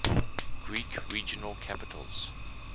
greek regional capitals